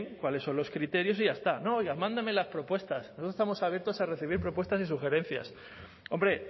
cuáles son los criterios y ya está no oiga mándeme las propuestas nosotros estamos abiertos a recibir propuestas y sugerencias hombre